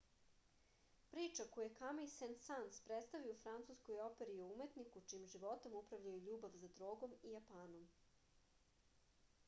priča koju je kamij sen-sans predstavio u francuskoj operi je o umetniku čijim životom upravljaju ljubav za drogom i japanom